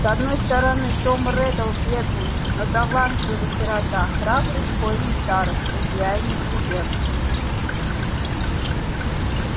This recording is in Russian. с одной стороны том реддл бедный но талантливый сирота храбрый школьный староста идеальный студент